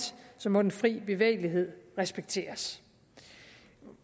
må den frie bevægelighed respekteres